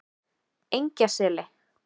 Engjaseli